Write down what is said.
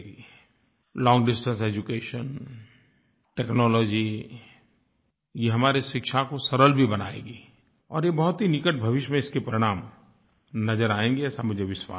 लोंग distance education technology ये हमारी शिक्षा को सरल भी बनाएगी और ये बहुत ही निकट भविष्य में इसके परिणाम नज़र आएँगे ऐसा मुझे विश्वास है